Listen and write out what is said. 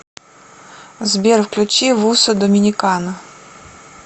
сбер включи вуссо доминикана